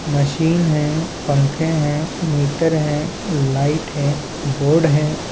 Machine है पंखे है मीटर है लाइट है बोर्ड है।